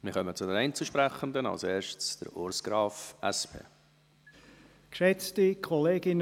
Wir kommen zu den Einzelsprechenden, zuerst Urs Graf, SP.